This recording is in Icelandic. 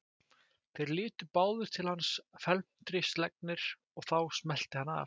Þeir litu báðir til hans felmtri slegnir og þá smellti hann af.